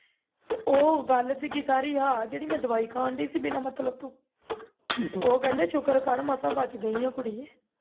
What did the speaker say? ਤੇ ਉਹ ਗੱਲ ਸੀ ਇਹ ਮੈਂ ਦਵਾਈ ਖਾਣ ਡਈ ਸੀ ਬਿਨਾਂ ਮਤਲਬ ਤੋਂ ਉਹ ਕਹਿੰਦੇ ਸ਼ੁਕਰ ਕਰ ਮਸਾਂ ਬਚ ਗਈਆਂ ਕੁੜੀਆਂ